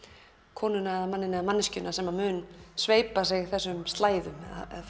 konuna eða manninn eða manneskjuna sem mun sveipa sig þessum slæðum